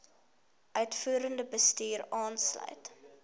uitvoerende bestuur insluit